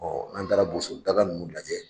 n'an taara boso daga nunnu lajɛ